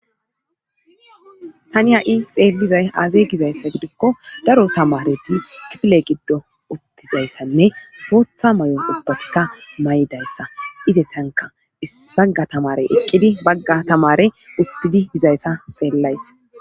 hani ha7i xeellizay aaze gizayssa gidikko daro tamareti kiple giddo uttizayssanne bootha may7on ubbatikka may7dayssa ize tanka is bagga tamare eqqidi bagga tamare uttidi dizayssa xeellayssa